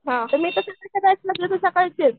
हां पण मी सकाळची आहे.